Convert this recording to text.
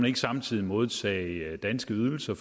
ikke samtidig modtage danske ydelser